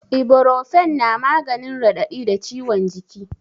Iborofen na maganin raɗaɗi da ciwon jiki